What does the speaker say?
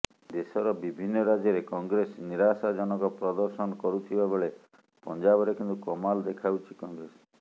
ଦେଶର ବିଭିନ୍ନ ରାଜ୍ୟରେ କଂଗ୍ରେସ ନିରାଶାଜନକ ପ୍ରଦର୍ଶନ କରୁଥିବା ବେଳେ ପଞ୍ଜାବରେ କିନ୍ତୁ କମାଲ ଦେଖାଉଛି କଂଗ୍ରେସ